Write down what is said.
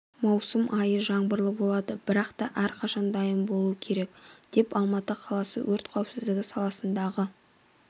маусым айы жаңбырлы болады бірақта әрқашан дайын болу керек деп алматы қаласы өрт қауіпсіздігі саласындағы